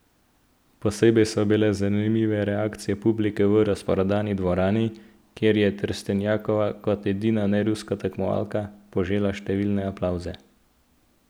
Posebej so bile zanimive reakcije publike v razprodani dvorani, kjer je Trstenjakova kot edina neruska tekmovalka požela številne aplavze.